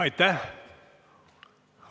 Aitäh!